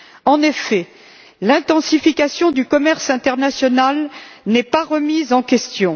En effet, l'intensification du commerce international n'est pas remise en question.